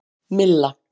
Milla